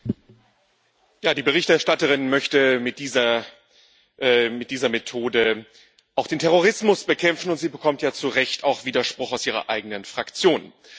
Herr Präsident! Die Berichterstatterin möchte mit dieser Methode auch den Terrorismus bekämpfen, und sie bekommt ja zu Recht auch Widerspruch aus ihrer eigenen Fraktion.